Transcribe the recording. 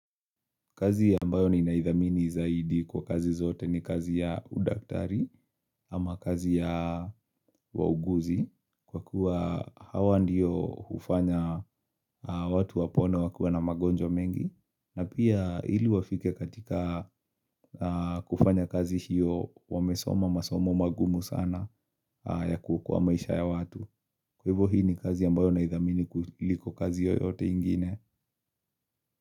Kazi ambayo ninaidhamini zaidi kwa kazi zote ni kazi ya udaktari ama kazi ya wauguzi Kwa kuwa hawa ndiyo hufanya watu wapone wakiwa na magonjwa mengi na pia ili wafike katika kufanya kazi hiyo wamesoma masomo magumu sana ya kuokoa maisha ya watu Kwa hivyo hii ni kazi ambayo naidhamini kuliko kazi yoyote ingine.